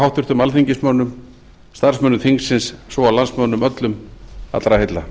háttvirtum alþingismönnum starfsmönnum þingsins svo og landsmönnum öllum allra heilla